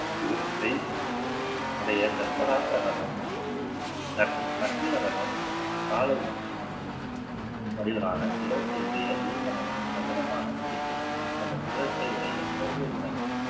சிகரத்தை உடைய தர்மராச ரதம் மற்றும் அர்ஜுன ரதம் வடிவிலான சிகரத்தை உடைய பீம ரகம் சதுரமான குடிசை போன்ற சிகரத்தையுடைய திரௌபதி ரதம்